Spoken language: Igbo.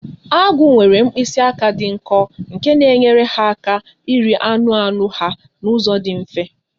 Agụ nwere mkpịsị aka dị nkọ nke na-enyere ha aka iri anụ anụ ha n'ụzọ dị mfe